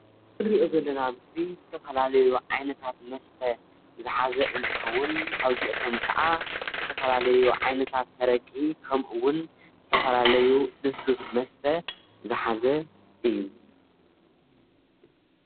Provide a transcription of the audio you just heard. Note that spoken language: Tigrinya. ንሪኦ ዘለና ምስሊ ዝተፈላለዩ ዓይነታት መስተ ዝሓዘ እንትኸውን ካብዚኣቶም ኻዓ ዝተፈላለዩ ዓይነታት ኣረቂ፣ ከምኡ እውን ዝተፈላለዩ ሉስሉስ መስተ ዝሓዘ እዩ።